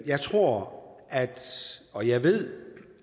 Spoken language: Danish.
jeg tror og jeg ved